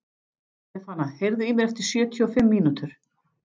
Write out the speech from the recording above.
Stefana, heyrðu í mér eftir sjötíu og fimm mínútur.